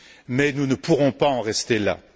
Mais nous ne pourrons pas en rester là.